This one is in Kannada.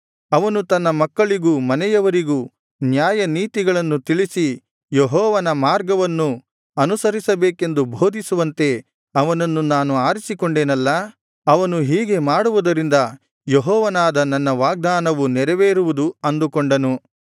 ಅವನು ತನ್ನ ಮಕ್ಕಳಿಗೂ ಮನೆಯವರಿಗೂ ನ್ಯಾಯ ನೀತಿಗಳನ್ನು ತಿಳಿಸಿ ಯೆಹೋವನ ಮಾರ್ಗವನ್ನು ಅನುಸರಿಸಬೇಕೆಂದು ಬೋಧಿಸುವಂತೆ ಅವನನ್ನು ನಾನು ಆರಿಸಿಕೊಂಡೆನಲ್ಲಾ ಅವನು ಹೀಗೆ ಮಾಡುವುದರಿಂದ ಯೆಹೋವನಾದ ನನ್ನ ವಾಗ್ದಾನವು ನೆರವೇರುವುದು ಅಂದುಕೊಂಡನು